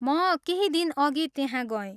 म केही दिनअघि त्यहाँ गएँ।